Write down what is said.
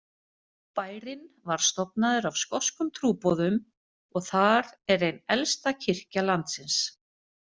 Bærinn var stofnaður af skoskum trúboðum og þar er ein elsta kirkja landsins.